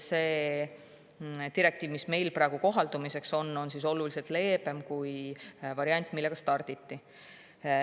See direktiiv, mis meil praegu kohaldamiseks on, on oluliselt leebem kui see variant, millega starditi.